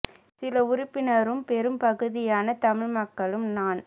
சில உறுப்பினரும் பெரும் பகுதியான தமிழ் மக்களும் நான்